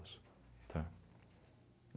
tá?